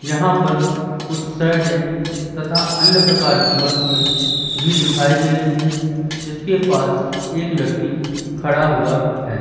यहां पर कुछ शर्टें तथा अन्य प्रकार की वस्तुएं भी दिखाई दे रही हैं जिसके पास एक व्यक्ति खड़ा हुआ हैं।